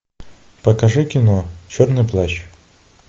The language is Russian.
покажи кино черный плащ